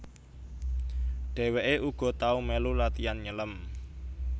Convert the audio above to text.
Dheweke uga tau melu latian nyelem